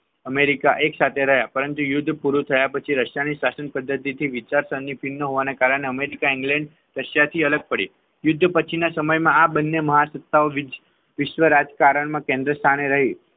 America એકસાથે રહ્યા પરંતુ યુદ્ધ પૂરું થયા પછી રશિયાની શાસન પદ્ધતિથી વિચારસરણી ભીન હોવાના કારણે અમેરિકા ઇંગ્લેન્ડ રશિયા થી અલગ પડે યુદ્ધ પછીના સમયમાં આ બંને મહાસત્તાઓ વિશ્વ રાજ્ય કરણમાં કેન્દ્રસ્થાને રહી